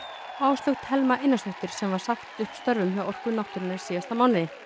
Áslaug Thelma Einarsdóttir sem var sagt upp störfum hjá Orku náttúrunnar í síðasta mánuði